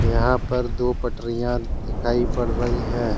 यहां पर दो पटरिया दिखाई पड़ रही है।